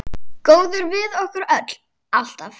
Góður við okkur öll, alltaf.